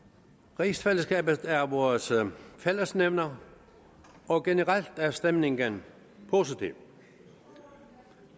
rigsfællesskabet er vores fællesnævner og generelt er stemningen positiv